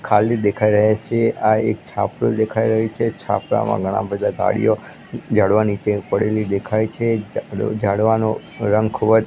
ખાલી દેખાય રહે છે આ એક છાપરુ દેખાય રહ્યું છે છાપરામાં ઘણા બધા ગાડીઓ ઝાડવા નીચે પડેલી દેખાય છે ઝાડ ઝાડવાનો રંગ ખૂબજ--